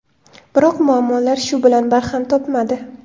Biroq muammolar shu bilan barham topmadi.